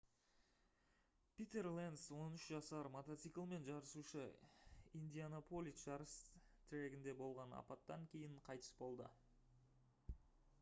питер ленц 13 жасар мотоциклмен жарысушы индианаполис жарыс трегінде болған апаттан кейін қайтыс болды